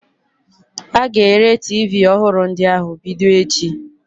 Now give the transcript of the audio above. A ga-ere tiivii ọhụrụ ndị ahụ bido echi.